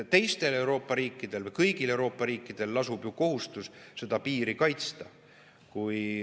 Kõigil Euroopa riikidel lasub kohustus seda piiri kaitsta.